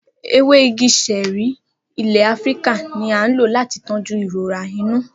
Ewe igi ṣẹẹri ile Afirika ni a lo lati tọju irora inu.